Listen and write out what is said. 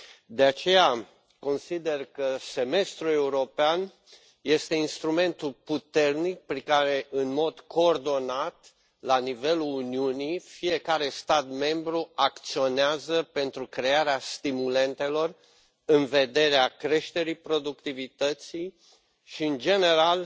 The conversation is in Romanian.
De aceea, consider că semestrul european este instrumentul puternic prin care, în mod coordonat la nivelul Uniunii, fiecare stat membru acționează pentru crearea stimulentelor în vederea creșterii productivității și, în general,